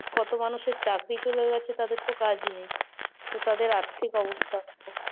কত মানুষের চাকরি চলে গেছে তাদের তো কাজই নেই, তো তাদের আর্থিক অবস্থা দেখো?